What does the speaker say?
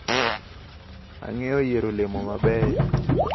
Ang`eyo yiero olemo mabeyo.